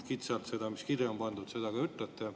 Kitsalt seda, mis kirja on pandud, te ka ütlete.